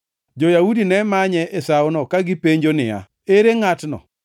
Jo-Yahudi ne manye e sawono ka gipenjo niya, “Ere ngʼatno?”